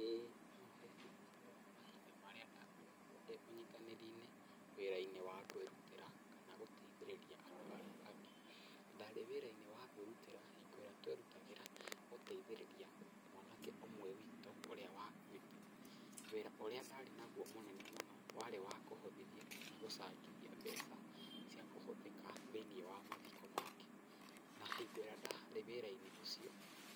ĩĩ no heane ũhoro wa mahinda marĩa ndakoretwo ndĩ ũnyitanĩri-inĩ wĩra-inĩ wa kwĩrutĩra kana gũteithĩrĩria andũ arĩa angĩ. Ndarĩ wĩra-inĩ wa kwĩrutĩra hingo ĩrĩa twerutagĩra gũteithĩrĩria mwanake ũmwe witũ ũrĩa wakuĩte. Wĩra ũrĩa ndarĩ naguo mũnene mũno warĩ wa kũhothithia kana gũcangithia mbeca, cia kũhũthĩka thiĩniĩ wa mathiko make, na hingo ĩrĩa ndarĩ waĩra-inĩ ũcio